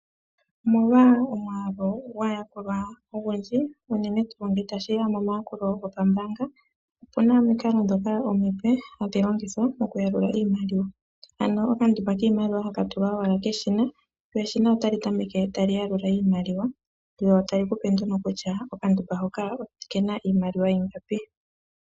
Omolwa omwaalu gwaayakulwa ogundji unene tuu ngele ta shi ya momayakulo gopambaanga, opuna omikalo ndhoka omipe hadhi longithwa mokuyalula iimaliwa. Ano okandumba kiimaliwa ha ka tulwa owala keshina , lyo eshina otali tameke ta li yalula iimaliwa, lyo tali ku pe nduno kutya okandumba hoka oke na iimaliwa ingapi.